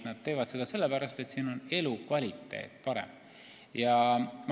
Nad teevad seda sellepärast, et siin on elukvaliteet parem.